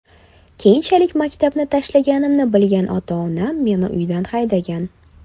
Keyinchalik maktabni tashlaganimni bilgan ota-onam meni uydan haydagan.